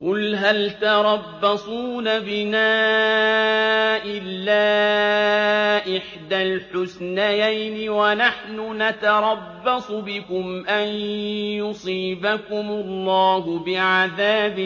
قُلْ هَلْ تَرَبَّصُونَ بِنَا إِلَّا إِحْدَى الْحُسْنَيَيْنِ ۖ وَنَحْنُ نَتَرَبَّصُ بِكُمْ أَن يُصِيبَكُمُ اللَّهُ بِعَذَابٍ